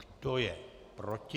Kdo je proti?